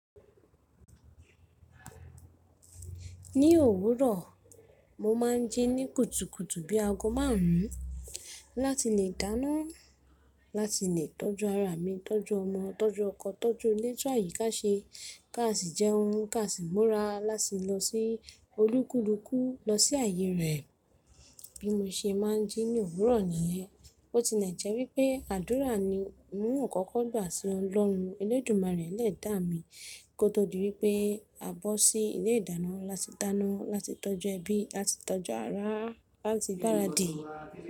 Ní òwúrọ̀, mo máa ń jí ní kùtùkùtù bí ago márùn-ún láti lè dáná, láti lè tọ́jú ará mi, tọ́jú ọmọ, tọ́jú ọkọ, tọ́jú ilé, tun àyíká ká ṣe, ká sì jẹun, ká sì múra, láti lọ sí olúkúlùkù, lọ sí ààyè rẹ̀. Bí mo ṣe máa ń jí ní òwúrọ̀ nìyẹn, bó ti lè jẹ́ wípé àdúrà ni ń kọ́kọ́ gbà sí ọlọ́run. Elédùmarè Ẹlẹ́dàá mí kó tó di wípé a bọ́ sí ilé ìdáná láti dáná, láti tọ́jú ẹbí, láti tọ́jú ará, láti gbáradì.